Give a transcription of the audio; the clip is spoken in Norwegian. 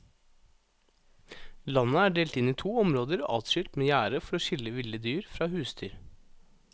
Landet er delt inn i to områder adskilt med gjerde for å skille ville dyr fra husdyr.